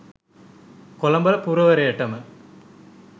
Colombo පුරවරයටම